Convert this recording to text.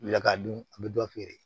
Lakado a bɛ dɔ feere